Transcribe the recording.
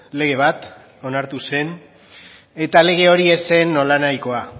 lege bat onartu zen eta lege hori ez zen nolanahikoa